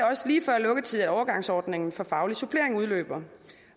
også lige før lukketid at overgangsordningen for faglig supplering udløber